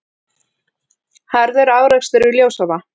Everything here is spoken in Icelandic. Harður árekstur við Ljósavatn